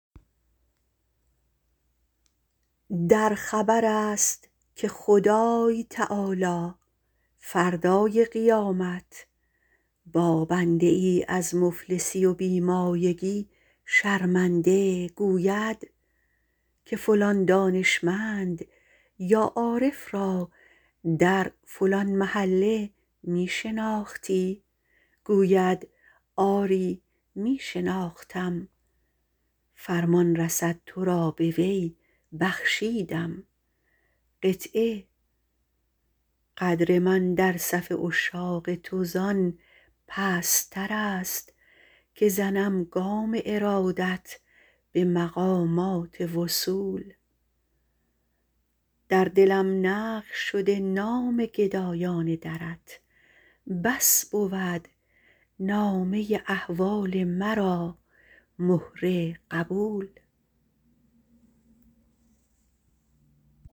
در خبر است که خدای تعالی فردای قیامت با بنده از مفلسی و بی مایگی شرمنده می گوید که فلان دانشمند یا عارف را در فلان محله می شناختی گوید آری می شناختم فرمان رسد تو را به وی بخشیدم قدر من در صف عشاق تو زان پستتر است که زنم گام ارادت به مقامات وصول در دلم نقش شده نام گدایان درت بس بود نامه احوال مرا مهر قبول